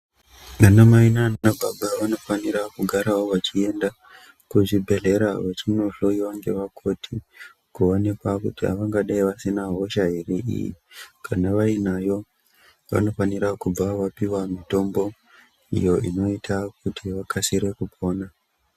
Ana Mai nana baba vanofanira kugara vachiendawo kuzvibhehlera vachinohloyiwa ngevakoti kuonekwa kuti vangadai vasina hosha ere iyi . Kana vainayo vanofanira kubva vapiwa mitombo iyo inoita kuti vakasire kupona.